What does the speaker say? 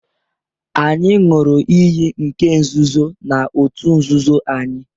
Anyị ṅụrụ iyi nke nzuzo na òtù nzuzo anyị